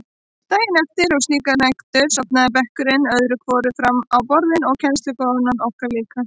Daginn eftir slíkar nætur sofnaði bekkurinn öðru hvoru fram á borðin og kennslukonan okkar líka.